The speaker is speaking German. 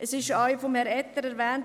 Es wurde auch von Herrn Etter erwähnt: